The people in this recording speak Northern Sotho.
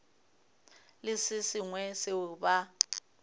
le se sengwe seo ba